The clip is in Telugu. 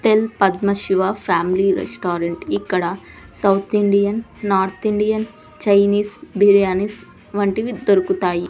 Tell Padma Shiva family restaurant ఇక్కడ south Indian north Indian Chinese biryanis వంటివి దొరుకుతాయి.